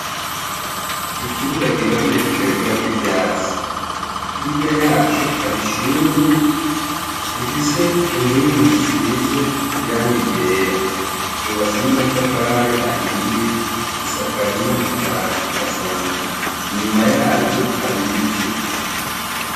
Ikibuga giharuye kitagirako ivyatsi, hirya yaco hari ishuri rifise inkingi zisize irangi ryera, ryubatse n'amatafari ahiye risakaje n'amabati asanzwe, inyuma yaryo hari ibiti.